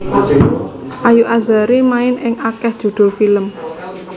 Ayu Azhari main ing akéh judhul film